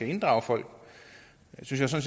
inddrage folk det synes jeg